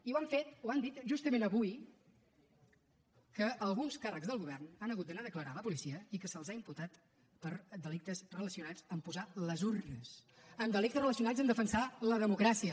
i ho han fet ho han dit justament avui que alguns càrrecs del govern han hagut d’anar a declarar a la policia i que se’ls ha imputat per delictes relacionats amb posar les urnes amb delictes relacionats amb defensar la democràcia